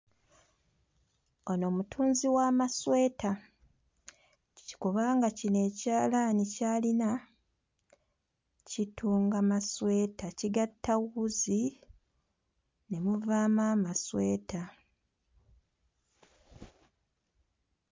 Ono mutunzi w'amasweta kubanga kino ekyalaani ky'alina kitunga masweta kigatta wuzi ne muvaamu amasweta.